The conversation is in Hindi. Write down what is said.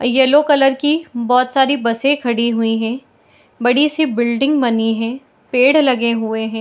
येलो कलर की बहुत सारी बसें खड़ी हुई हैं बड़ी सी बिल्डिंग बनी हैं पेड़ लगे हुए हैं।